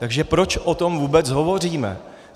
Takže proč o tom vůbec hovoříme.